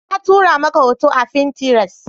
Na tura maka hoto a fintiras